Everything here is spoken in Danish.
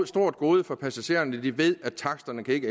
stort gode for passagererne at de ved at taksterne ikke